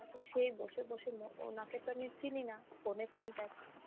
তারপরে সেই বসে বসে ম~উনাকে তো আমি চিনি না phone এ contact.